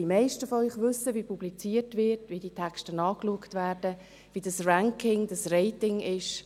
Die meisten von Ihnen wissen, wie publiziert wird, wie die Texte angeschaut werden, wie das Ranking, das Rating ist.